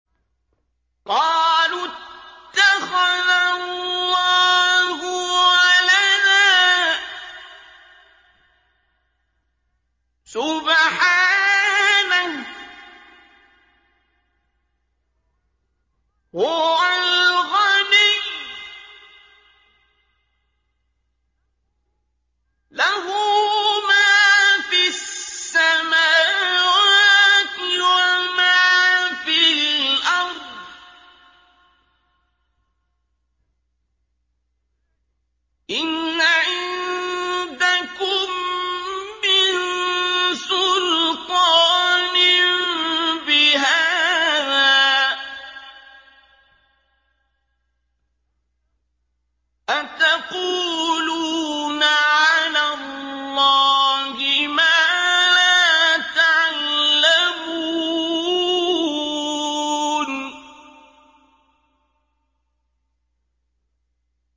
قَالُوا اتَّخَذَ اللَّهُ وَلَدًا ۗ سُبْحَانَهُ ۖ هُوَ الْغَنِيُّ ۖ لَهُ مَا فِي السَّمَاوَاتِ وَمَا فِي الْأَرْضِ ۚ إِنْ عِندَكُم مِّن سُلْطَانٍ بِهَٰذَا ۚ أَتَقُولُونَ عَلَى اللَّهِ مَا لَا تَعْلَمُونَ